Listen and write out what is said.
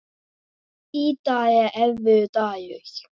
Í dag er erfiður dagur.